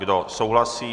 Kdo souhlasí?